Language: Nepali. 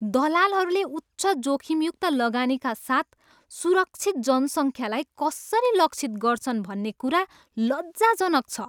दलालहरूले उच्च जोखिमयुक्त लगानीका साथ सुरक्षित जनसङ्ख्यालाई कसरी लक्षित गर्छन् भन्ने कुरा लज्जाजनक छ।